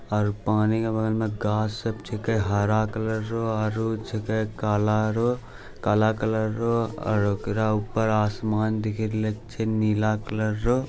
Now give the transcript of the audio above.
और पानी के बगल में गाछ सब छके हरा कलर रो आरु छकै काला रो कला कलर रो और ओकरा ऊपर आसमान दिखी रहलै छे नीला कलर रो |